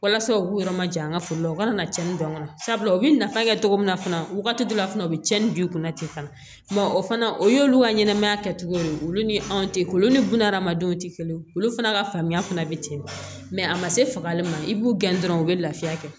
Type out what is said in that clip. Walasa u k'u yɔrɔ majan an ka foro la u kana na tiɲɛni don sabula u bɛ nafa kɛ cogo min na fana wagati dɔ la fana u bɛ tiɲɛni don i kunna ten fana o fana o y'olu ka ɲɛnɛmaya kɛcogo ye olu ni anw tɛ olu ni bunahadamadenw tɛ kelen ye olu fana ka faamuya fana bɛ ten a ma se fagali ma i b'u gɛn dɔrɔn u bɛ lafiya kɛ